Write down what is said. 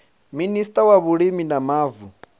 minista wa vhulimi na mavu